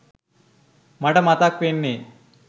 මට මතක් වෙන්නෙ